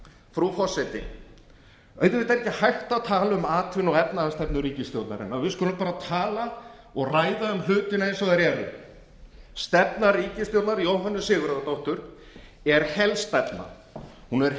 frú forseti auðvitað er ekki hægt að tala um atvinnu og efnahagsstefnu ríkisstjórnarinnar við skulum bara tala og ræða um hlutina eins og þeir eru stefna ríkisstjórnar jóhönnu sigurðardóttur er helstefna hún er